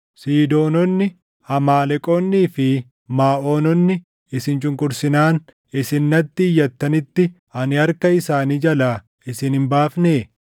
Siidoononni, Amaaleqoonnii fi Maaʼoononni isin cunqursinaan isin natti iyyattanitti ani harka isaanii jalaa isin hin baafnee?